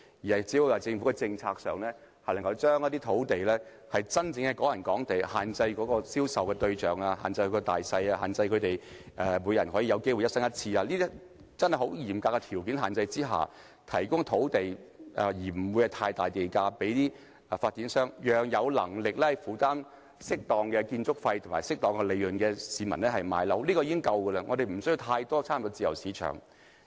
政府只要在政策上，將一些土地列為"港人港地"、限制銷售對象、單位大小、只准每人一生買一次等，在十分嚴格的限制下，以不太高的地價批出土地給發展商，讓有能力負擔適當建築費和利潤的市民購買有關單位，這樣便已足夠，我們無須過分插手自由市場。